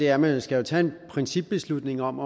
er at man jo skal tage en principbeslutning om